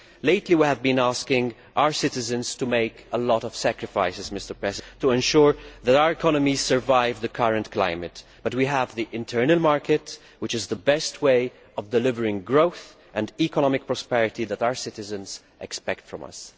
Lately we have been asking our citizens to make a lot of sacrifices to ensure that our economies survive the current climate, but we do have the internal market, which is the best way of delivering growth and the economic prosperity that our citizens expect of us.